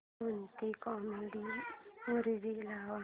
कोणतीही comedy movie लाव